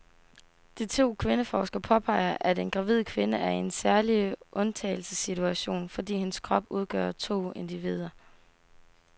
De to kvindeforskere påpeger, at en gravid kvinde er i en særlig undtagelsessituation, fordi hendes krop udgør to individer.